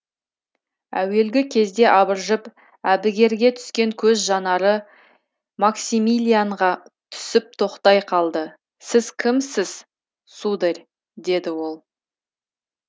әуелгі кезде абыржып әбігерге түскен көз жанары максимилианға түсіп тоқтай қалды сіз кімсіз сударь деді ол